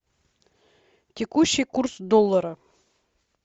текущий курс доллара